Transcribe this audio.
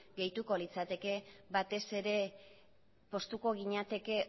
gehituko litzateke batez ere poztuko ginateke